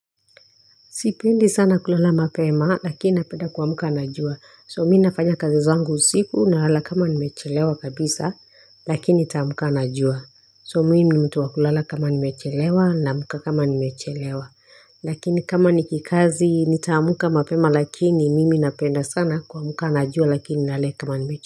Sipendi sana kulala mapema lakini napenda kumka na jua. So mi nafanya kazi zangu usiku nalala kama nimechelewa kabisa lakini nitaamka na jua. So mimi ni mtu wa kulala kama nimechelewa naamka kama nimechelewa. Lakini kama ni kikazi nitaamka mapema lakini mimi napenda sana kuamka na jua lakini nalala kama nimechelewa.